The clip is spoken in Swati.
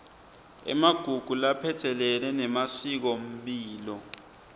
emagugu laphatselene nemasikomphilo